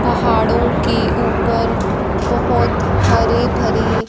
पहाड़ों की ऊपर बहुत हरी भरी--